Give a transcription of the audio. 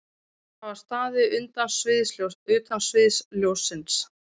Þær hafa staðið utan sviðsljóssins